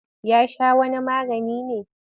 Ya sha wani magani ne?